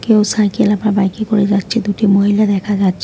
কেউ সাইকেল -এ বা বাইক -এ করে যাচ্ছে দুটি মহিলা দেখা যাচ্ছে।